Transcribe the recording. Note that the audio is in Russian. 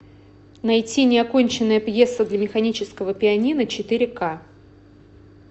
найти неоконченная пьеса для механического пианино четыре к